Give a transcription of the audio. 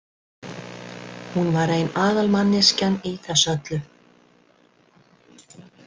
Hún var ein aðalmanneskjan í þessu öllu.